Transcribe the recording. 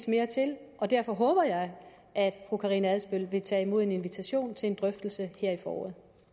mere til og derfor håber jeg at fru karina adsbøl vil tage imod en invitation til en drøftelse her i foråret